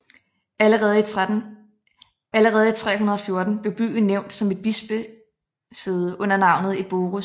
Allerede i 314 blev byen nævnt som et bispesæde under navnet Eborus